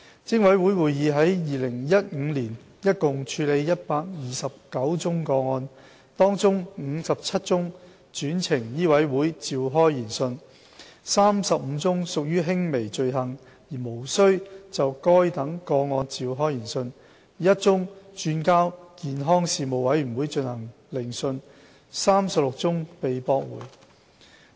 偵委會會議於2015年共處理129宗個案，當中57宗轉呈醫委會召開研訊、35宗屬輕微罪行而無須就該等個案召開研訊、1宗轉交健康事務委員會進行聆訊及36宗被駁回。